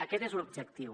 aquest és l’objectiu